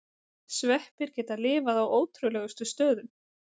Sveppir geta lifað á ótrúlegustu stöðum.